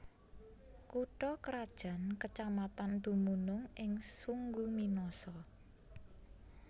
Kutha krajan kecamatan dumunung ing Sungguminasa